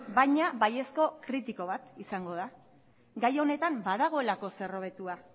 baina baiezko kritiko bat izango da gai honetan badagoelako zer hobetua